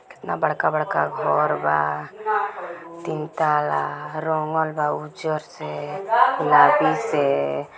केतना बड़का-बड़का घर बा तीन तला। रंगल बा उजर से गुलाबी से।